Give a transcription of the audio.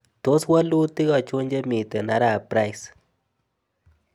Tos' walutik achon chemiten arap price